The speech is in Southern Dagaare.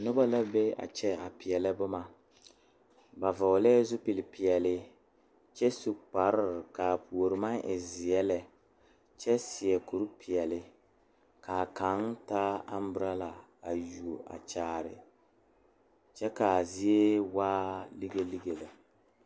Noba la maala pɔŋpiŋ dɔɔ kaŋa naŋ su kpare zeɛ nu wogre a seɛ kuri sɔglaa woge are nyɔge la kuroo taa pɔge kaŋa naŋ su kpare sɔglaanuŋmaara a seɛ mugkuri pilaa meŋ ŋmaara la kuruu.